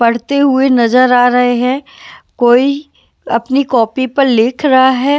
पढ़ते हुए नज़र आ रहे हैं कोई अपनी कॉपी पर लिख रहा है।